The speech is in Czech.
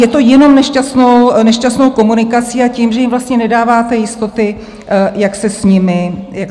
Je to jenom nešťastnou komunikací a tím, že jim vlastně nedáváte jistoty, jak se s nimi počítá.